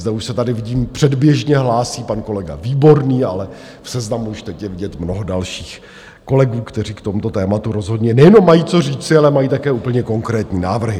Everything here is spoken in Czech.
Zde už se tady vidím předběžně hlásí pan kolega Výborný, ale v seznamu už teď je vidět mnoho dalších kolegů, kteří k tomuto tématu rozhodně nejenom mají co říci, ale mají také úplně konkrétní návrhy.